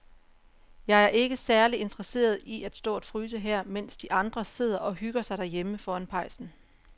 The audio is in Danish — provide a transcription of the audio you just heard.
Jeg er ikke særlig interesseret i at stå og fryse her, mens de andre sidder og hygger sig derhjemme foran pejsen.